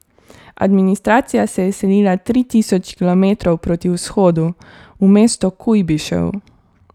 Administracija se je selila tri tisoč kilometrov proti vzhodu, v mesto Kujbišev.